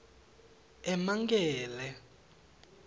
emankele